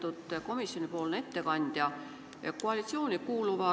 Lugupeetud komisjonipoolne ettekandja!